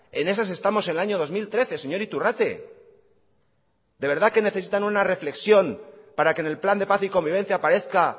en esas estamos en el año dos mil trece señor iturrate de verdad que necesitan una reflexión para que en el plan de paz y convivencia aparezca